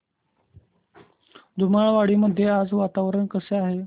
धुमाळवाडी मध्ये आज वातावरण कसे आहे